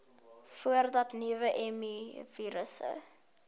voordat nuwe mivirusse